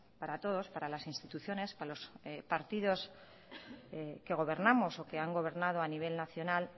para todos para las instituciones para los partidos que gobernamos o que han gobernado a nivel nacional